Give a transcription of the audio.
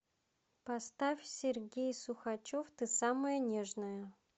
поставь сергей сухачев ты самая нежная